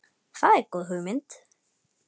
Það er góð hugmynd.